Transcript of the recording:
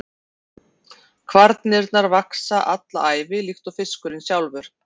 Kvarnirnar vaxa alla ævi líkt og fiskurinn sjálfur.